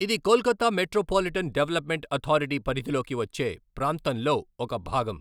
ఇది Kolkata metropolitan development authority పరిధిలోకి వచ్చే ప్రాంతంలో ఒక భాగం.